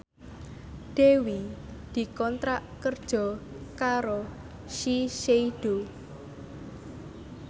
Dewi dikontrak kerja karo Shiseido